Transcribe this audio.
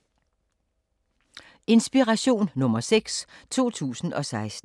Inspiration nr. 6, 2016